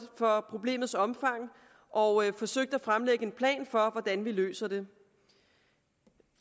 for problemets omfang og forsøgt at fremlægge en plan for hvordan vi løser det